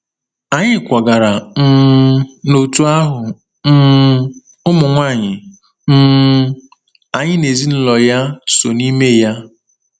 Anyị kwagara um n’òtù ahụ um ụmụnwaanyị um anyị na ezinụlọ ya so n’ime ya.